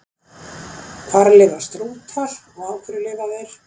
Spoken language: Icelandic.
Hvar lifa strútar og á hverju lifa þeir?